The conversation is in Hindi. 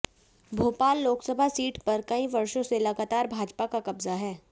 भोपाल लोकसभा सीट पर कई वर्षों से लगातार भाजपा का कब्जा है